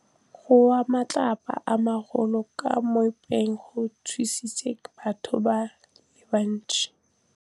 Go wa ga matlapa a magolo ko moepong go tshositse batho ba le bantsi.